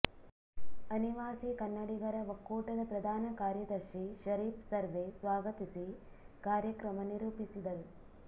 ಅನಿವಾಸಿ ಕನ್ನಡಿಗರ ಒಕ್ಕೂಟದ ಪ್ರದಾನ ಕಾರ್ಯದರ್ಶಿ ಶರೀಫ್ ಸರ್ವೆ ಸ್ವಾಗತಿಸಿ ಕಾರ್ಯಕ್ರಮ ನಿರೂಪಿಸಿದರು